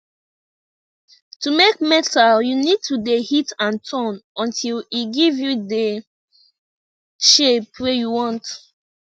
to make metal you need to de hit and turn until e give you dey shape wey you want